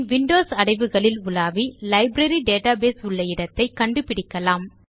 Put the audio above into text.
பின் Windows அடைவுகளில் உலாவி library database உள்ள இடத்தை கண்டு பிடிக்கலாம்